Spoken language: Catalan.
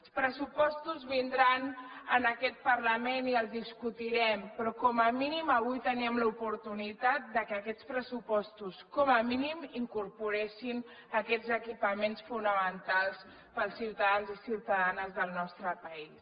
els pressupostos vindran a aquest parlament i els discutirem però com a mínim avui teníem l’oportunitat que aquests pressupostos com a mínim incorporessin aquests equipaments fonamentals per als ciutadans i ciutadanes del nostre país